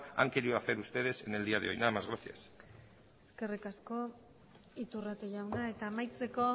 han quiero hacer ustedes en el día de hoy nada más gracias eskerrik asko iturrate jauna eta amaitzeko